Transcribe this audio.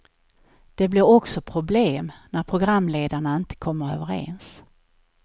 Det blir också problem när programledarna inte kommer överens.